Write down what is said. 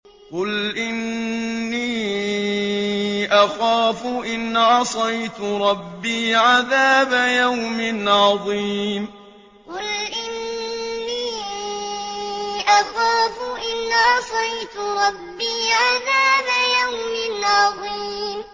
قُلْ إِنِّي أَخَافُ إِنْ عَصَيْتُ رَبِّي عَذَابَ يَوْمٍ عَظِيمٍ قُلْ إِنِّي أَخَافُ إِنْ عَصَيْتُ رَبِّي عَذَابَ يَوْمٍ عَظِيمٍ